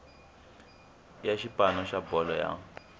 ya xipano xa bolo ya